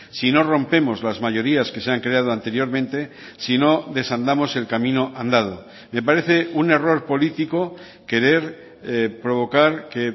si no rompemos las mayorías que se han creado anteriormente si no desandamos el camino andado me parece un error político querer provocar que